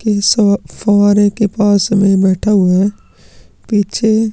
के साथ फवारे के पास बैठा हुआ है पीछे --